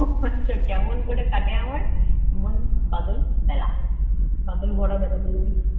ওহ আচ্ছা, কেমন করে কাটে আমার এমন বাদল বেলা। বাদল ভরা বেলা বলেছি।